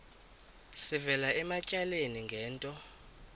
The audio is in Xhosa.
sivela ematyaleni ngento